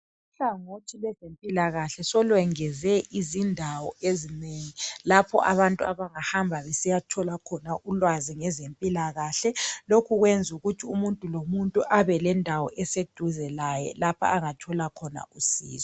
Uhlangothi lwezempilakahle solwengeze izindawo ezinengi lapho abantu abangahamba besiyathola khona ulwazi ngezempilakahle lokhu kwenza ukuthi umuntu lo muntu abe lendawo eseduze laye lapha angathola khona usizo.